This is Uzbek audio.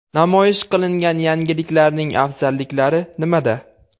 Namoyish qilingan yangiliklarning afzalliklari nimada?